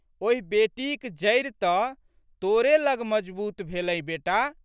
ओहि बेटीक जड़ि तऽ तोरे लग मजगूत भेलै बेटा।